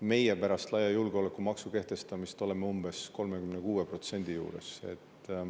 Meie pärast laia julgeolekumaksu kehtestamist oleme umbes 36% juures.